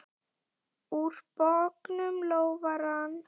Úr bognum lófa rann.